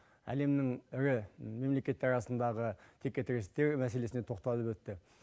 әлемнің ірі мемлекеттері арасындағы текетірестер мәселесіне тоқталып өтті